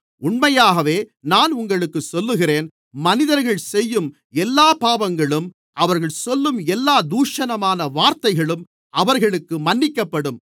உண்மையாகவே நான் உங்களுக்குச் சொல்லுகிறேன் மனிதர்கள் செய்யும் எல்லாப் பாவங்களும் அவர்கள் சொல்லும் எல்லாத் தூஷணமான வார்த்தைகளும் அவர்களுக்கு மன்னிக்கப்படும்